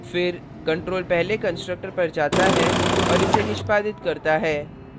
फिर control पहले constructor पर जाता है और इसे निष्पादित करता है